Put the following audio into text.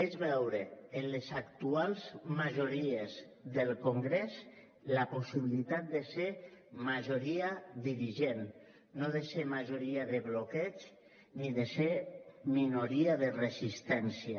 és veure en les actuals majories del congrés la possibilitat de ser majoria dirigent no de ser majoria de bloqueig ni de ser minoria de resistència